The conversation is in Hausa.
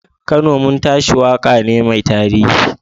Kano Mun Tashi waka ne mai tarihi.